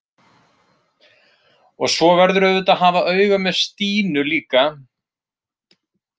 Og svo verðurðu auðvitað að hafa auga með Stínu líka.